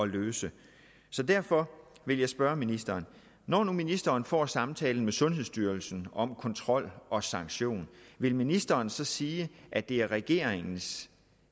løse så derfor vil jeg spørge ministeren når nu ministeren får samtalen med sundhedsstyrelsen om kontrol og sanktion vil ministeren så sige at det er regeringens